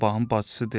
Sabahın bacısı dedi.